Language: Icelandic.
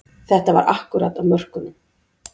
Þetta var akkúrat á mörkunum